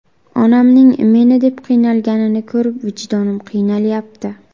Onamning meni deb qiynalganini ko‘rib, vijdonim qiynalyapti.